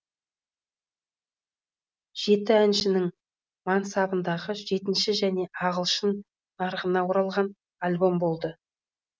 жеті әншінің мансабындағы жетінші және ағылшын нарығына оралған альбом болды